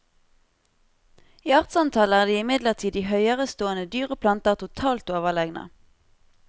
I artsantall er de imidlertid de høyerestående dyr og planter totalt overlegne.